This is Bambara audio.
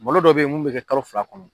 Molo dɔ bɛ ye mun bɛ kɛ kalo fila kɔnɔ.